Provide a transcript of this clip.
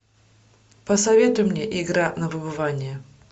посоветуй мне игра на выбывание